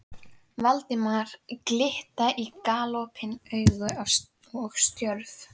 Valdimar glitta í galopin augu og stjörf.